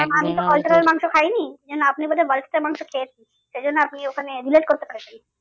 খাইনি এই জন্য আপনি বোধ হয় মাংস খেয়েছেন সেই জন্য আপনি ওখানে করতে পেরেছেন।